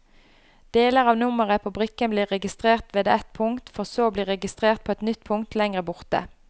Deler av nummeret på brikken blir registrert ved ett punkt, for så å bli registrert på et nytt punkt lengre borte.